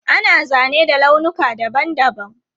Ana zane da launuka dabam dabam.